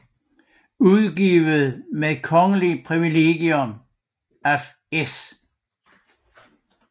Udgivet med Kongeligt privilegium af S